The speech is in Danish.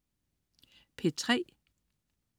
P3: